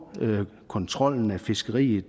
kontrollen af fiskeriet